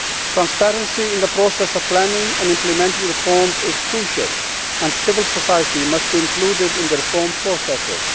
Transparency in the process of planning and implementing reforms is crucial and civil society must be included in the reform processes.